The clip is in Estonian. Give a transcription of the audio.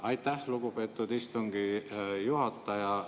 Aitäh, lugupeetud istungi juhataja!